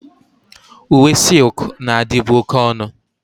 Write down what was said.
Uwe silk na-adịbu oke ọnụ.